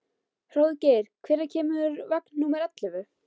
Hróðgeir, hvenær kemur vagn númer ellefu?